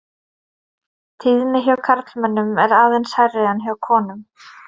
Tíðni hjá karlmönnum er aðeins hærri en hjá konum.